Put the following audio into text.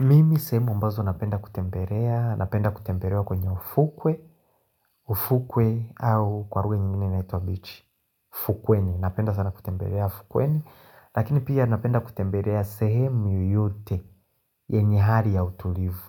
Mimi sehemu ambazo napenda kutembelea Napenda kutembelea kwenye ufukwe ufukwe au kwa lugha nyingine inaitwa bichi Fukweni, napenda sana kutembelea Fukweni, lakini pia napenda kutembelea sehemu yoyote yenye hali ya utulivu